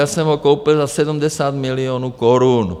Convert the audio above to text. Já jsem ho koupil za 70 milionů korun.